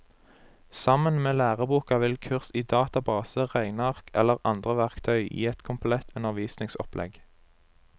Sammen med læreboka vil kurs i database, regneark eller andre verktøy gi et komplett undervisningsopplegg.